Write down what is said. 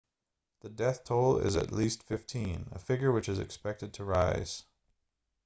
the death toll is at least 15 a figure which is expected to rise